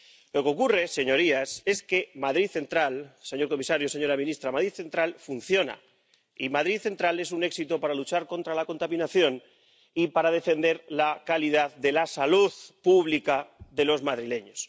Lo que ocurre, señorías, señor comisario, señora ministra, es que Madrid Central funciona y Madrid Central es un éxito para luchar contra la contaminación y para defender la calidad de la salud pública de los madrileños.